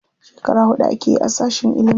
Shekara huɗu akeyi a sashin ilimi.